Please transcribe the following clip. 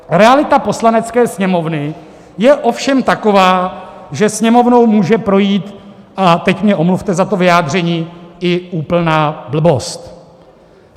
Realita Poslanecké sněmovny je ovšem taková, že Sněmovnou může projít - a teď mě omluvte za to vyjádření - i úplná blbost.